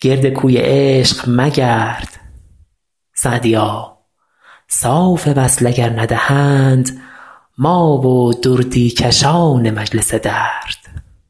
گرد کوی عشق مگرد سعدیا صاف وصل اگر ندهند ما و دردی کشان مجلس درد